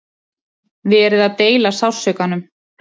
Verið að deila sársaukanum